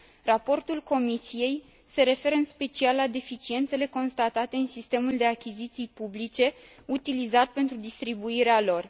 Raportul Comisiei se referă în special la deficiențele constatate în sistemul de achiziții publice utilizat pentru distribuirea lor.